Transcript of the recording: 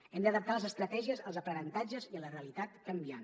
hem d’adaptar les estratègies als aprenentatges i a la realitat canviant